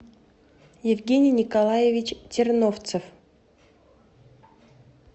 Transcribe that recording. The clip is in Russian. евгений николаевич терновцев